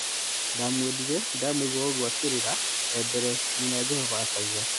" Ndamwendire, ndamũigua o-ũgwo akĩrĩra rĩa mbere," nyina Jovana akauga.